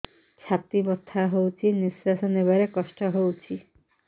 ଛାତି ବଥା ହଉଚି ନିଶ୍ୱାସ ନେବାରେ କଷ୍ଟ ହଉଚି